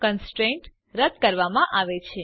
constraint રદ કરવામાં આવે છે